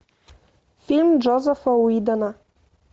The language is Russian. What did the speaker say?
фильм джозефа уидона